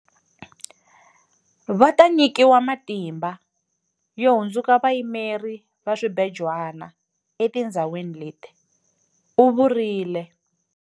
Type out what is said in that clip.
Va ta nyikiwa matimba yo hundzuka vayimeri va swibejwana etindhawini leti, u vurile.